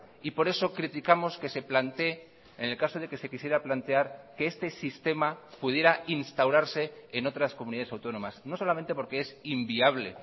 y por eso criticamos que se plantee en el caso de que se quisiera plantear que este sistema pudiera instaurarse en otras comunidades autónomas no solamente porque es inviable